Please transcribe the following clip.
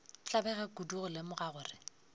tlabega kudu go lemoga gore